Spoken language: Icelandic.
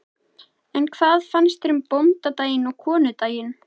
En hvað finnst þér um bóndadaginn og konudaginn?